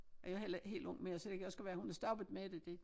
Og jeg heller ikke helt ung mere så det kan også godt være hun er stoppet med det det